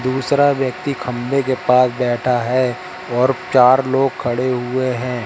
दूसरा व्यक्ति खंबे के पास बैठा है और चार लोग खड़े हुए हैं।